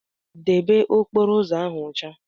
Debe okporo ụzọ ahụ ọcha!